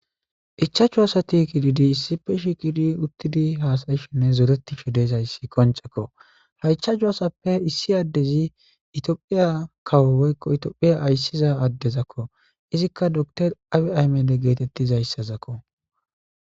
ichachu asati kididi issife shikidi uttidi haasayishenne zoretishe desayssi koncekko ha icha cu asappe issi addezi itiophiya kawo woykko itophiya ayssiza addezakko izikka dotor abi aymede geetettizayssazakko